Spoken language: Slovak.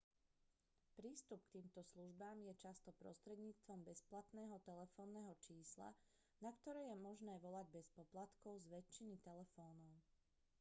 prístup k týmto službám je často prostredníctvom bezplatného telefónneho čísla na ktoré je možné volať bez poplatkov z väčšiny telefónov